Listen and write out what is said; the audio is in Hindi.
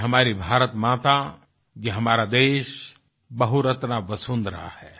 ये हमारी भारतमाता ये हमारा देश बहुरत्ना वसुंधरा है